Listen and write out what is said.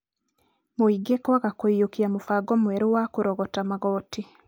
Mũingĩ kwaga kũiyũkia mũbango mweru wa kũrogota magoti.